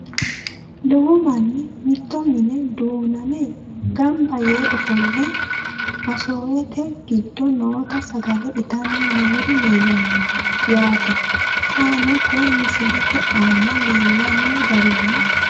Lowo manni mitto minne duunnamme ganbba yee offolle masoowette giddo nootta sagale ittanni noori leelanno yaatte xaanno koye misilette aanna leellano garinni